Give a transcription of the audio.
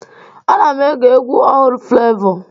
A na m ege egwu ọhụrụ flevọ.